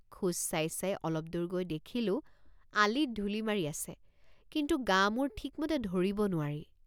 খোজ চাই চাই অলপদূৰ গৈ দেখিলোঁআলিত ধুলি মাৰি আছে কিন্তু গামুৰ ঠিকমতে ধৰিব নোৱাৰি।